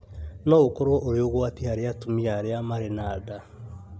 no ũkorũo ũrĩ ũgwati harĩ atumia arĩa marĩ na nda.